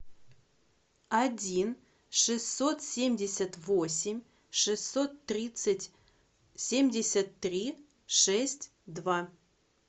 один шестьсот семьдесят восемь шестьсот тридцать семьдесят три шесть два